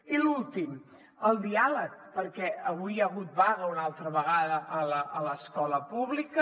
i l’últim el diàleg perquè avui hi ha hagut vaga una altra vegada a l’escola pública